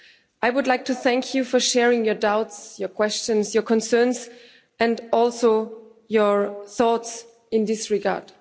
I would like to thank you for sharing your doubts, your questions, your concerns, and also your thoughts in this regard.